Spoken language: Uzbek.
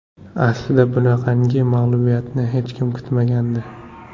Aslida bunaqangi mag‘lubiyatni hech kim kutmagandi.